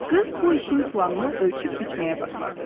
Qız bu işin planını ölçüb biçməyə başladı.